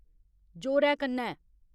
जोरै कन्नै